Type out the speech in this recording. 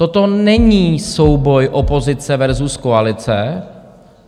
Toto není souboj opozice versus koalice.